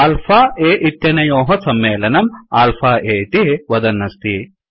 alpha a इत्यनयोः सम्मेलनम् alpha a इति वदन् अस्ति